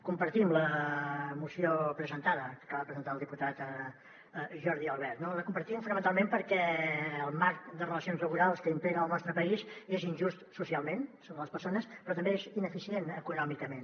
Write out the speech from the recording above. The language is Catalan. compartim la moció presentada que acaba de presentar el diputat jordi albert no la compartim fonamentalment perquè el marc de relacions laborals que impera al nostre país és injust socialment sobre les persones però també és ineficient econòmicament